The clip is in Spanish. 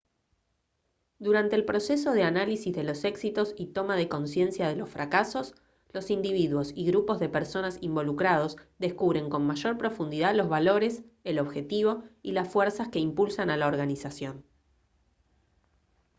durante el proceso de análisis de los éxitos y toma de conciencia de los fracasos los individuos y grupos de personas involucrados descubren con mayor profundidad los valores el objetivo y las fuerzas que impulsan a la organización